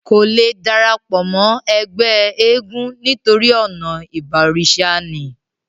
kò le darapọ̀ mọ́ ẹgbẹ́ eégún nítorí ọ̀nà ìbọ̀rìsà ni